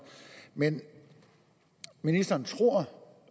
men ministeren tror